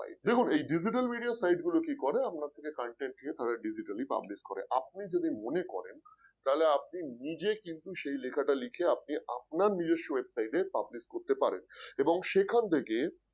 দেখুন এই Digital Media site গুলো কি করে আপনার থেকে content নিয়ে তারা digitally publish করে, আপনি যদি মনে করেন তাহলে আপনি নিজে কিন্তু সেই লেখাটা লিখে আপনি আপনার নিজস্ব website এ Publish করতে পারেন এবং সেখান থেকে